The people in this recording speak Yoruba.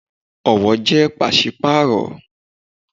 Ọwọ jẹ pási-paaro